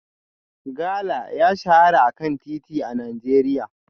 Gala ya shahara a kan titi a Najeriya